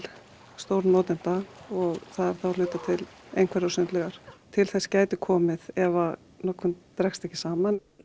stórnotenda og það er þá að hluta til einhverjar sundlaugar til þess gæti komið ef notkunin dregst ekki saman